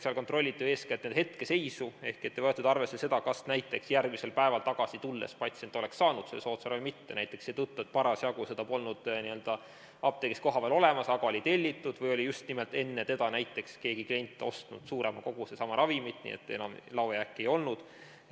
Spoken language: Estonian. Seal kontrolliti eeskätt hetkeseisu ehk ei võetud arvesse seda, kas näiteks järgmisel päeval tagasi tulles patsient oleks saanud soodsama ravimi või mitte, näiteks seetõttu, et seda polnud lihtsalt parasjagu apteegis kohapeal olemas, aga see oli tellitud, või oli just nimelt enne teda keegi klient ostnud suurema koguse sama ravimit, nii et laojääki enam ei olnud.